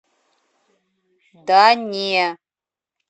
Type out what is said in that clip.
да не